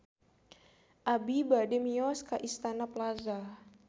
Abi bade mios ka Istana Plaza